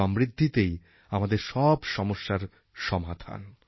সমৃদ্ধিতেই আমাদের সব সমস্যার সমাধান